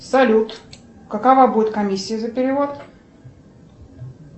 салют какова будет комиссия за перевод